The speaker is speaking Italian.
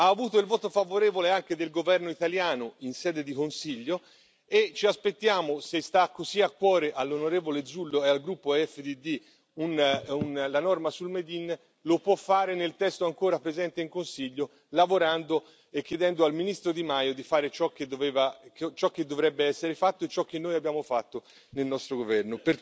Ha avuto il voto favorevole anche del governo italiano in sede di Consiglio e ci aspettiamo, se sta così a cuore all'onorevole Zullo e al gruppo EFDD la norma sul made in lo può fare nel testo ancora presente in Consiglio, lavorando e chiedendo al ministro Di Maio di fare ciò che dovrebbe essere fatto e ciò che noi abbiamo fatto nel nostro governo.